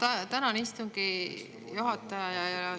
Ma tänan, istungi juhataja!